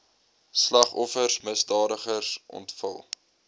slagoffers misdadigers ontvlug